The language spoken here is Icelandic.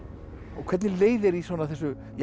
hvernig leið þér í svona þessu